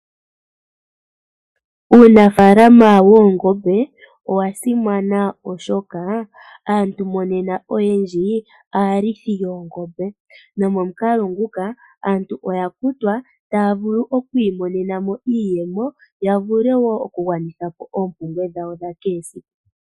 Uunafaalama woongombe, owa simana oshoka, aantu monena oyendji, aalithi yoongombe. Nomomukalo nguka, aantu oha ya futwa, taya vulu oku imonenamo iiyemo, yavule wo okugwanitha po oompumbwe dhawo dhakehe esiku.